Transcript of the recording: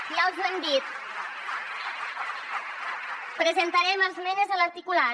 ja els ho hem dit presentarem esmenes a l’articulat